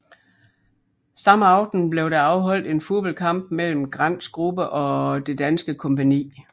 Samme aften blev der afholdt en fodboldkamp mellem Grants gruppe og det danske kompagni